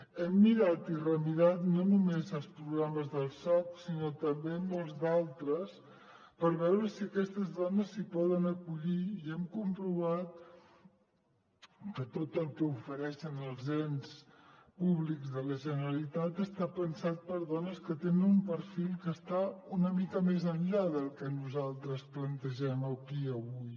hem mirat i remirat no només els programes del soc sinó també molts d’altres per veure si aquestes dones s’hi poden acollir i hem comprovat que tot el que ofereixen els ens públics de la generalitat està pensat per a dones que tenen un perfil que està una mica més enllà del que nosaltres plantegem aquí avui